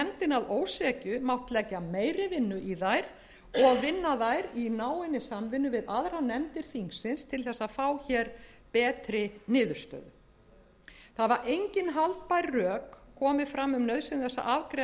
hefði nefndin að ósekju mátt leggja meiri vinnu í þær og vinna þær í náinni samvinnu við aðrar nefndir þingsins til að fá betri niðurstöðu engin haldbær rök hafa komið fram um nauðsyn þess að afgreiða